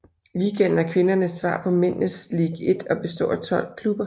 Ligaen er kvindernes svar på mændenes Ligue 1 og består af 12 klubber